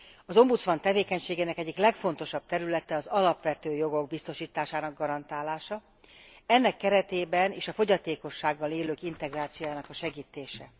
Az ombudsman tevékenységének egyik legfontosabb területe az alapvető jogok biztosításának garantálása, ennek keretében is a fogyatékossággal élők integrációjának a segítése.